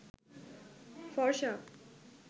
ফর্সা